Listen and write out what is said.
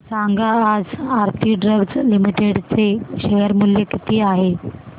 सांगा आज Aarti drugs limited चे शेअर मूल्य किती आहे